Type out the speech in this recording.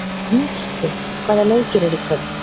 Gneisti, hvaða leikir eru í kvöld?